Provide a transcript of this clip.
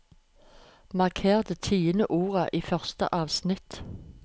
Marker det tiende ordet i første avsnitt